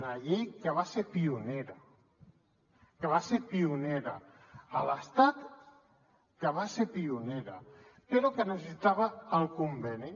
una llei que va ser pionera que va ser pionera a l’estat que va ser pionera però que necessitava el conveni